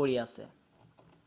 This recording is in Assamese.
পৰি আছে৷